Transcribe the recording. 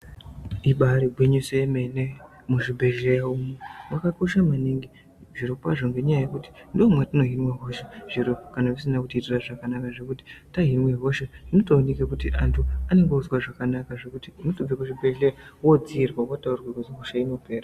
Ibari gwinyiso yemene muzvibhehleya umo makakosha maningi zviro kwazvo ngenyaya yekuti ndomatino hima hosha kana zvisina tiitira zvakanaka kana tahime hasha zvinotooneka kuti antu anenge onzwa zvakanaka zvekuti unotobva kuzvibhehleya yotodziirwa wataurirwa hosha inopera.